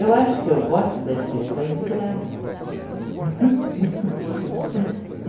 Eu acho que eu gosto das pessoas de graça.